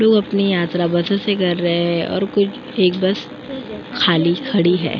जो अपनी यात्रा बसों से कर रहे हैं और कुछ एक बस खाली खड़ी है।